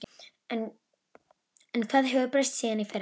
En hvað hefur breyst síðan í fyrra?